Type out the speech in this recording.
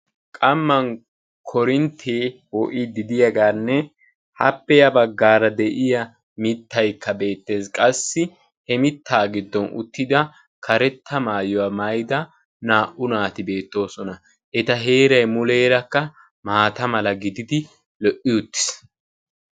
Qammaan korinttee poo"idi de'iyaaganne appe ya baggaara de'iyaa mittayikka beettees. qassi he mittaa giddon uttida karetta maayuwaa maayida naa"u naati beettoosona. eta heeray muleerakka maata mala gididi lo"i uttiis.